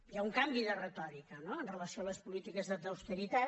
hi ha un canvi de retòrica no amb relació a les polítiques d’austeritat